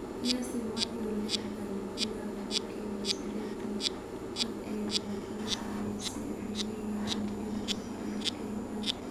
Qiyaastii boqolkibo lixdhaan ilaa boqolkibo sidetaan dadka ay dhibaatadu saameysey waxay leeyihiin unugyada difaaca jirka ee GAD.